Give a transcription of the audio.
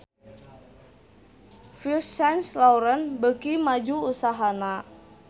Yves Saint Laurent beuki maju usahana